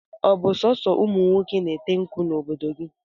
Ọ bụ so ụmụnwoke na-ete nkwụ n'obodo gị?